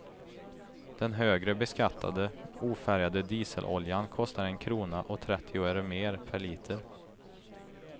Den högre beskattade, ofärgade dieseloljan kostar en krona och trettio öre mer per liter.